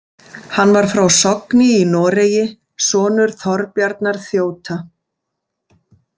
Hann var frá Sogni í Noregi, sonur Þorbjarnar þjóta.